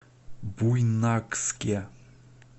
буйнакске